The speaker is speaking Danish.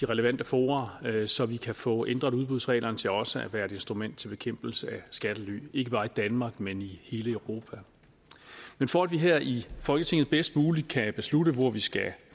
relevante fora så vi kan få ændret udbudsreglerne til også at være et instrument til bekæmpelse af skattely ikke bare i danmark men i hele europa men for at vi her i folketinget bedst muligt kan beslutte hvor vi skal